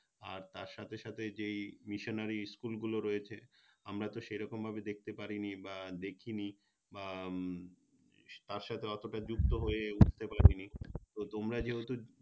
আর তার সাথে সাথে এই Missionary School গুলো রয়েছে আমরা তো সেরকমভাবে দেখতে পারিনি বা দেখিনি বা তার সাথে অতটা যুক্ত হয়ে উঠতে পারিনি তো তোমরা যেহেতু